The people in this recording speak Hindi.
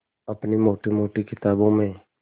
अपनी मोटी मोटी किताबों में